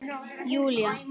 Júlía